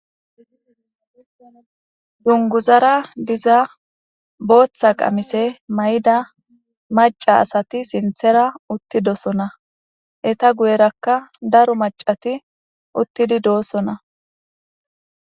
Dunguzara diza booththa qamise may'ida maca asati siinththera uttidosona eta guyerakka daro macati uttidi doosona